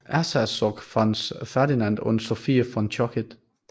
Erzherzog Franz Ferdinand und Sophie von Chotek